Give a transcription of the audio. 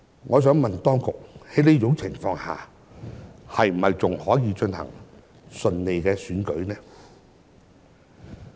我想問當局，在這種情況下，選舉是否仍能順利進行呢？